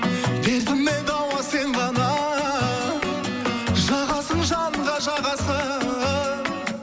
дертіме дауа сен ғана жағасың жанға жағасың